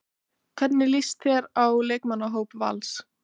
Hvernig líst þér á leikmannahóp Vals?